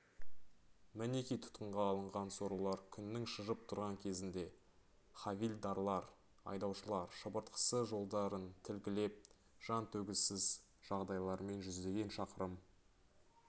мінеки тұтқынға алынған сорлылар күннің шыжып тұрған кезінде хавильдарлар айдаушылар шыбыртқысы жондарын тілгілеп жан төзгісіз жағдайлармен жүздеген шақырым